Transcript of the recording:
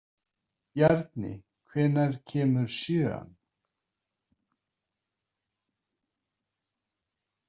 Bjarni, hvenær kemur sjöan?